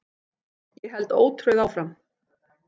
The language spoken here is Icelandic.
Ég held ótrauð áfram.